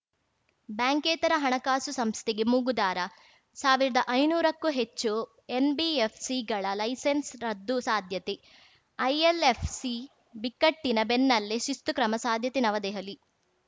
ಬ್ಯಾಂಕೇತರ ಹಣಕಾಸು ಸಂಸ್ಥೆಗೆ ಮೂಗುದಾರ ಸಾವಿರ್ದಾ ಐನೂರಕ್ಕೂ ಹೆಚ್ಚು ಎನ್‌ಬಿಎಫ್‌ಸಿಗಳ ಲೈಸೆನ್ಸ್‌ ರದ್ದು ಸಾಧ್ಯತೆ ಐಎಲ್‌ಎಫ್‌ಸಿ ಬಿಕ್ಕಟ್ಟಿನ ಬೆನ್ನಲ್ಲೇ ಶಿಸ್ತು ಕ್ರಮ ಸಾಧ್ಯತೆ ನವದೆಹಲಿ